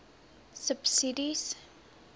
subsidies